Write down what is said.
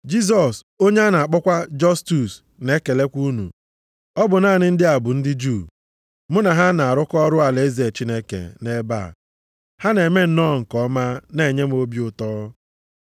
Jisọs, onye a na-akpọkwa Jọstus, na-ekelekwa unu. Ọ bụ naanị ndị a bụ ndị Juu + 4:11 Ha bụ ndị Juu site nʼobibi ugwu. mụ na ha na-arụkọ ọrụ alaeze Chineke nʼebe a. Ha na-eme nnọọ nke ọma, na-enye m obi ụtọ.